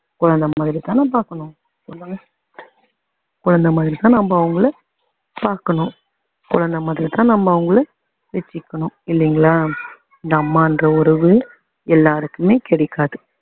குழந்தை மாதிரி தான பாக்கணும் சொல்லுங்க குழந்தை மாதிரிதான் நம்ம அவங்கள பாக்கணும் குழந்தை மாதிரி தான் நம்ம அவங்கள வச்சிக்கணும் இல்லைங்களா இந்த அம்மான்ற உறவு எல்லாருக்குமே கிடைக்காது